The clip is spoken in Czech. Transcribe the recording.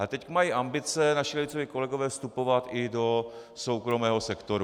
Ale teď mají ambice naši levicoví kolegové vstupovat i do soukromého sektoru.